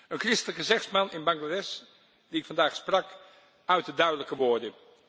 Een christelijke zegsman in Bangladesh die ik vandaag sprak, uitte duidelijke woorden.